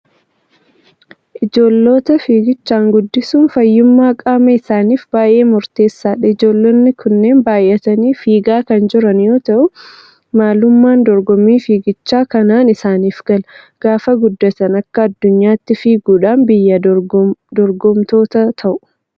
Ijoollota fiiggichaan guddisuun fayyummaa qaama isaaniif baay'ee murteessaadha! Ijoollonni kunneen baay'atanii fiigaa kan jiran yoo ta'u, maalummaan dorgommii fiigichaa kanaan isaanif gala. Gaafa guddatan akka addunyaatti fiiguudhaan biyyaa dorgomtoota ta'u.